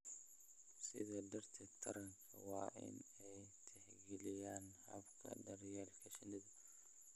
Sidaa darteed, taranta waa in ay tixgeliyaan hababka daryeelka shinnida